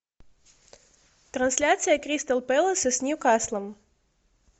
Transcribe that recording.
трансляция кристал пэласа с ньюкаслом